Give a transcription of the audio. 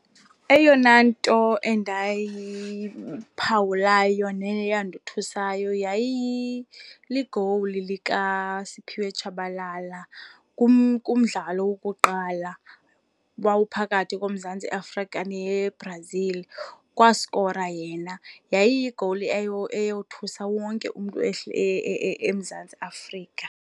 Eyona nto endayiphawulayo neyandothusayo ligowuli lika Siphiwe Tshabalala kumdlalo wokuqala owawuphakathi koMzantsi Afrika neBrazil. Kwaskora yena, yayiyigowuli eyothusa wonke umntu eMzantsi Afrika.